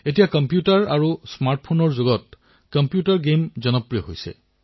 এই আত্মনিৰ্ভৰ ভাৰত এপ উদ্ভাৱন প্ৰত্যাহ্বানত আমাৰ যুৱচামে দলেবলে অংশগ্ৰহণ কৰিছিল